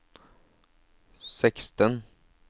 seksten